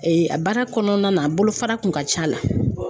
a baara kɔnɔna na bolofara kun ka c'a la.